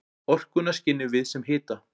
Orkuna skynjum við sem hita.